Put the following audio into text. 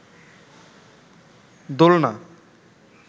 দোলনা